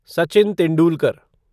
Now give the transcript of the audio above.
Sachin Tendulkar